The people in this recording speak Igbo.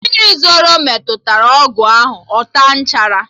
Mmiri ozuzo metụrụ ọgụ ahụ, ọ taa nchara